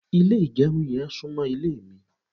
ile igerun yen sunmo ile mi